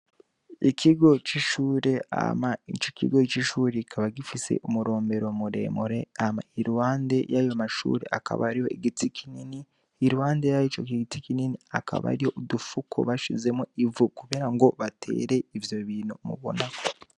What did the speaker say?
Ikigo c'ishure ama ico ikigo c'ishuri ikaba gifise umurombero muremure ama ilwande y'ayo mashure akaba ari ho igitsi kinini ilwande yaro ico ki giti kinini akaba ari yo udufuko bashizemo ivu, kubera ngo batere ivyo bintu mubonako.